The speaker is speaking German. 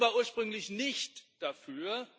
Die Kommission war ursprünglich nicht dafür